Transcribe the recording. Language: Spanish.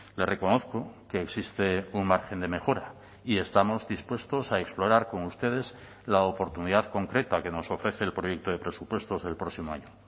le reconozco que existe un margen de mejora y estamos dispuestos a explorar con ustedes la oportunidad concreta que nos ofrece el proyecto de presupuestos del próximo año